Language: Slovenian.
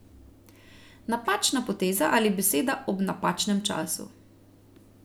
Napačna poteza ali beseda ob napačnem času.